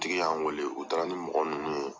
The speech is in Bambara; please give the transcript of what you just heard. tigi y'an weele u taara ni mɔgɔ minnu ye.